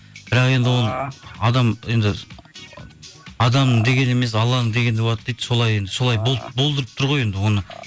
бірақ енді ол енді адамның дегені емес алланың дегені болады дейі солай енді солай болдырып тұр ғой енді оны